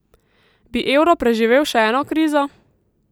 Bi evro preživel še eno krizo?